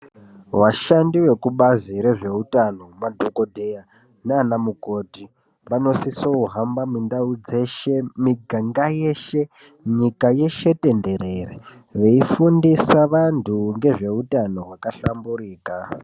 Vashandi vekubazi rezveutano madhokodheya nanamukoti vanosisohamba mundau dzeshe, miganga yeshe , nyika yeshe tenderere veifundisa vantu ngezveutano hwakahlamburika.